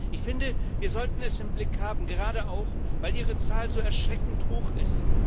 Ich finde, wir sollten es im Blick haben, gerade auch, weil ihre Zahl so erschreckend hoch ist.